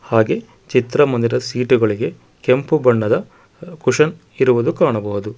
ಹಾಗೆ ಚಿತ್ರಮಂದಿರ ಸೀಟುಗಳಿಗೆ ಕೆಂಪು ಬಣ್ಣದ ಕುಶನ್ ಇರುವುದು ಕಾಣಬಹುದು.